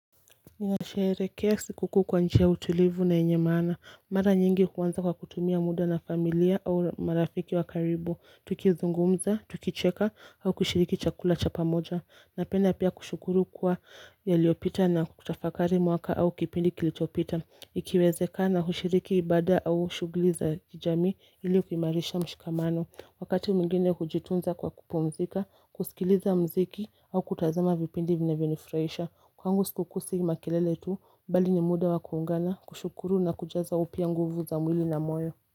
Ninasherehekea sikukuu kwa njia ya utulivu na yenye maana Mara nyingi huanza kwa kutumia muda na familia au marafiki wa karibu. Tukizungumza, tukicheka au kushiriki chakula cha pamoja. Napenda pia kushukuru kuwa yaliyopita na kutafakari mwaka au kipindi kilichopita. Ikiwezekana hushiriki ibada au shughuli za kijamii ili kuimarisha mshikamano Wakati mwingine hujitunza kwa kupumzika, kusikiliza muziki au kutazama vipindi vinavyonifurahisha Kwangu sikukuu si makelele tu, bali ni muda wa kuungana, kushukuru na kujaza upya nguvu za mwili na moyo.